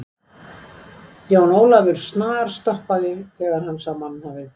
Jón Ólafur snarstoppaði þegar hann sá mannhafið.